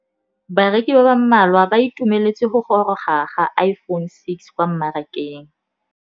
Bareki ba ba malwa ba ituemeletse go gôrôga ga Iphone6 kwa mmarakeng.